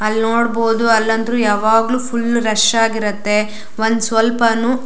ಅಲ್ಲನೋಡಬಹುದು ಅಲ್ಲ ಅಂತ್ರು ಯಾವಾಗ್ಲು ಫುಲ್ ರಶ್ ಆಗಿರುತ್ತೆ ಒಂದ ಸ್ವಲ್ಪನು --